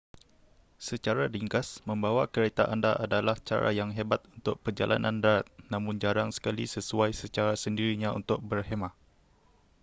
secara ringkas membawa kereta anda adalah cara yang hebat untuk perjalanan darat namun jarang sekali sesuai secara sendirinya untuk 'berkhemah'